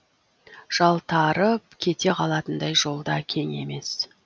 жалтарып кете қалатындай жол да кең емес